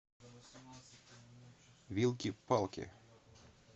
вилки палки